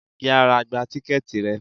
Yára gba tíkẹ́ẹ̀tì rẹ.